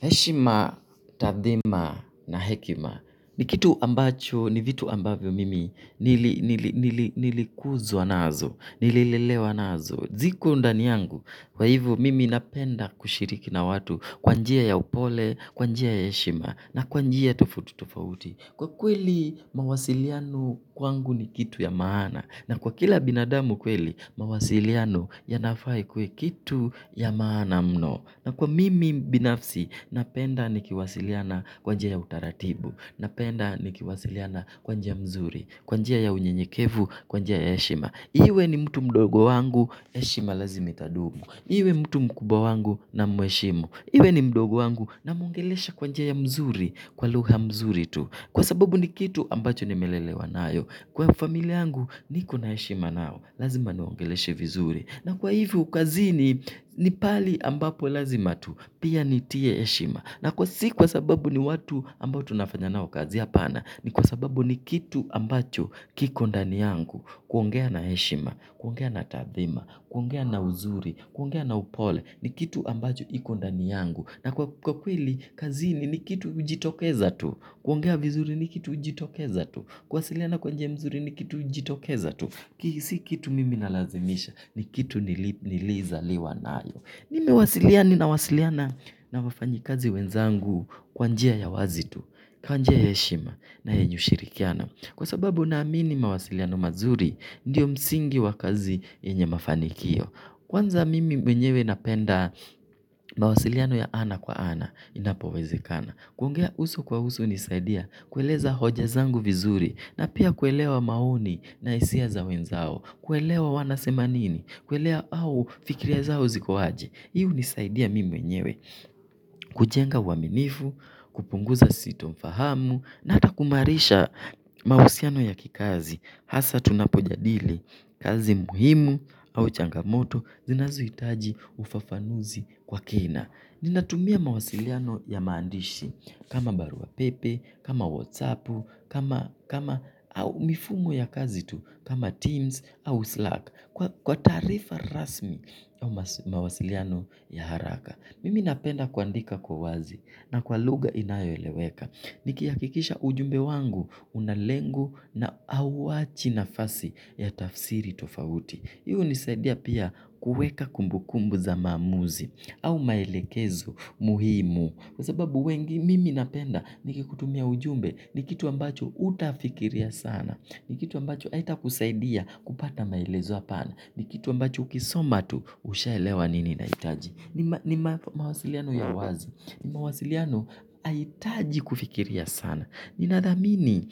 Heshima, tathima na hekima ni kitu ambacho ni vitu ambavyo mimi nilikuzwa nazo, nililelewa nazo. Ziko ndani yangu, kwa hivyo mimi napenda kushiriki na watu kwa njia ya upole, kwa njia ya heshima na kwa njia tofauti tofauti. Kwa kweli mawasiliano kwangu ni kitu ya maana na kwa kila binadamu kweli mawasiliano ya nafaa ikuwe kitu ya maana mno. Na kwa mimi mbinafsi, napenda nikiwasiliana kwa njia ya utaratibu, napenda nikiwasiliana kwa njia ya mzuri, kwa njia ya unyenyekevu, kwa njia ya heshima. Iwe ni mtu mdogo wangu, heshima lazimi itadumu. Iwe mtu mkubwa wangu namuheshimu. Iwe ni mdogo wangu namuongelesha kwa njia ya mzuri, kwa lugha mzuri tu. Kwa sababu ni kitu ambacho nimelelewa nayo. Kwa familia yangu niko na heshima nao. Lazima niwaongeleshe vizuri. Na kwa hivyo kazini ni pahali ambapo lazima tu. Pia nitie heshima. Na si kwa sababu ni watu ambao tunafanya nao kazi, hapana. Ni kwa sababu ni kitu ambacho kiko ndani yangu. Kuongea na heshima. Kuongea na taadhima. Kwa ngea na uzuri. Kwa ngea na upole. Ni kitu ambacho iko ndani yangu. Na kwa kweli, kazini ni kitu ujitokeza tu. Kuongea vizuri ni kitu ujitokeza tu. Kuwasiliana kwa njia mzuri ni kitu ujitokeza tu. Hii si kitu mimi na lazimisha. Ni kitu nilizaliwa nalo. Nimewasiliana na wafanyikazi wenzangu kwa njia ya wazi tu. Kwa njia ya heshima na yenye ushirikiana. Kwa sababu naamini mawasiliano mazuri, ndiyo msingi wa kazi yenye mafanikio. Kwanza mimi mwenyewe napenda mawasiliano ya ana kwa ana, inapowezekana. Kuongea uso kwa uso hunisaidia kueleza hoja zangu vizuri na pia kuelewa maoni na hisia za wenzao, kuelewa wanasema nini au fikira zao ziko aje. Hii unisaidia mimi mwenyewe, kujenga uwaminifu, kupunguza sitofahamu, na ata kumaarisha mahusiano ya kikazi. Hasa tunapojadili kazi muhimu au changamoto zinazo itaji ufafanuzi kwa kina. Ninatumia mawasiliano ya maandishi kama baruapepe, kama whatsapu, au mifumo ya kazi tu, kama teams au slack. Kwa taarifa rasmi ya mawasiliano ya haraka. Mimi napenda kuandika kwa wazi na kwa lugha inayo eleweka. Nikihakikisha ujumbe wangu una lengo na hauwachi nafasi ya tafsiri tofauti. Hii unisaidia pia kuweka kumbukumbu za maamuzi au maelekezo muhimu. Kwa sababu wengi mimi napenda nikikutumia ujumbe ni kitu ambacho utafikiria sana. Ni kitu ambacho haitakusaidia kupata maelezo ya pana. Ni kitu ambacho ukisoma tu ushaelewa nini inahitaji. Ni mawasiliano ya wazi. Ni mawasiliano haitaji kufikiria sana. Ninadhamini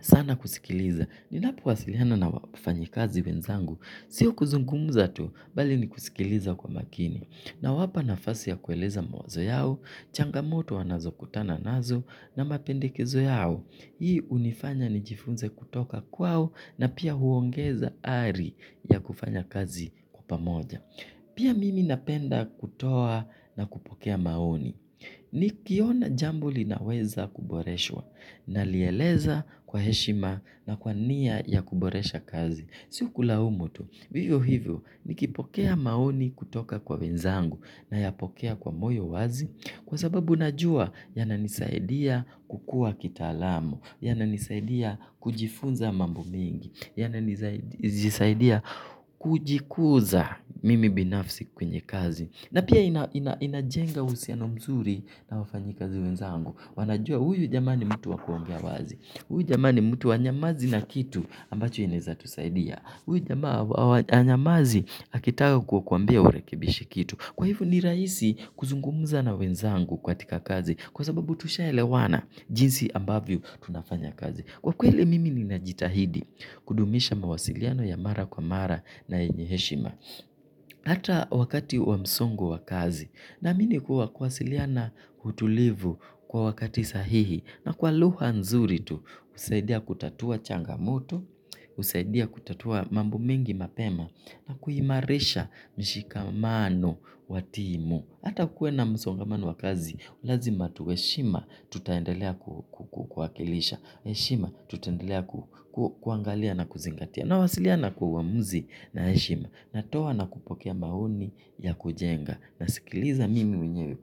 sana kusikiliza. Ninapo wasiliano na wafanyikazi wenzangu sio kuzungumuza tu, bali ni kusikiliza kwa makini nawapa nafasi ya kueleza mawazo yao, changamoto wanazokutana nazo na mapendekezo yao. Hii unifanya nijifunze kutoka kwao na pia huongeza hali ya kufanya kazi kwa pamoja. Pia mimi napenda kutoa na kupokea maoni. Nikiona jambo linaweza kuboreshwa nalieleza kwa heshima na kwa nia ya kuboresha kazi. Si kulaumu tu. Vivyo hivyo nikipokea maoni kutoka kwa wenzangu nayapokea kwa moyo wazi. Kwa sababu najua yananisaidia kukua kitaalamu. Yananisaidia kujifunza mambo mingi. Yananisaidia kujikuza mimi binafsi kwenye kazi. Na pia inajenga husiano mzuri na wafanyikazi wenzangu. Wanajua huyu jamaa ni mtu wa kuongea wazi. Huyu jamaa ni mtu hanyamazi na kitu ambacho inaeza tusaidia. Huyu jamaa hanyamazi akitaka kukuambia urekebishe kitu. Kwa hivyo ni rahisi kuzungumza na wenzangu katika kazi. Kwa sababu tushaelewana jinsi ambavyo tunafanya kazi. Kwa kweli mimi ninajitahidi kudumisha mawasiliano ya mara kwa mara na yenye heshima. Ata wakati wa msongo wa kazi na mimi huwa kuwasiliana utulivu kwa wakati sahihi na kwa lugha nzuri tu, husaidia kutatua changamoto, husaidia kutatua mambo mingi mapema na kuimarisha mshikamano wa timu. Ata kue na msongomano wa kazi, lazima tuwe heshima tutaendelea kuakilisha, heshima tutaendelea kuangalia na kuzingatia. Nawasiliana kwa uamuzi na heshima. Natoa na kupokea maoni ya kujenga. Nasikiliza mimi mwenye.